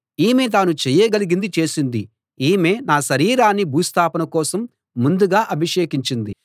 ఈమె తాను చేయగలిగింది చేసింది ఈమె నా శరీరాన్ని భూస్థాపన కోసం ముందుగా అభిషేకించింది